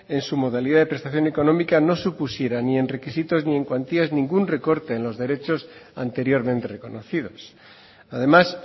en su modalidad de prestación económica no supusiera ni en requisitos ni en cuantías ningún recorte en los derechos anteriormente reconocidos además